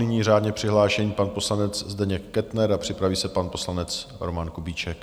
Nyní řádně přihlášený pan poslanec Zdeněk Kettner a připraví se pan poslanec Roman Kubíček.